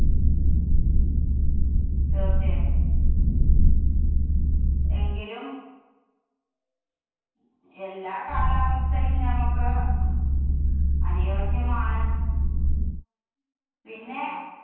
തീര്‍ച്ചയായും, എങ്കിലും എല്ലാ കാലാവസ്ഥയും ഞമ്മക്ക് അനുയോജ്യമാണ്. പിന്നേ